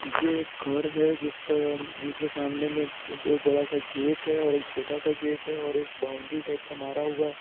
ये घर है जिसका जिसके सामने में दो बड़ा सा गेट है और एक छोटा सा गेट है और एक बाउंड्री टाइप सा मारा हुआ है।